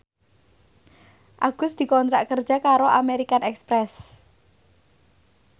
Agus dikontrak kerja karo American Express